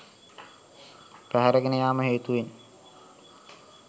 පැහැරගෙන යාම හේතුවෙන්